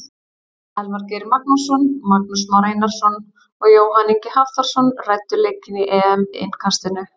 Elvar Geir Magnússon, Magnús Már Einarsson og Jóhann Ingi Hafþórsson ræddu leikinn í EM innkastinu.